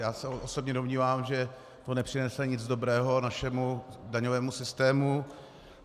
Já se osobně domnívám, že to nepřinese nic dobrého našemu daňovému systému.